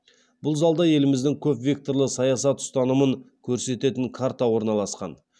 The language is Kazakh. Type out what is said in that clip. бұл залда еліміздің көпвекторлы саясат ұстанымын көрсететін карта орналасқан